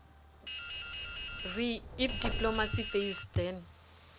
re if diplomacy fails then